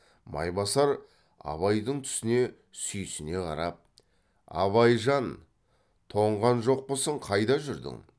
майбасар абайдың түсіне сүйсіне қарап абайжан тоңған жоқпысың қайда жүрдің